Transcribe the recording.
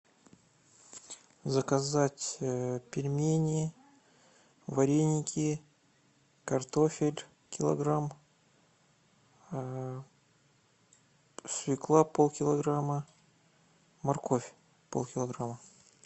заказать пельмени вареники картофель килограмм свекла полкилограмма морковь полкилограмма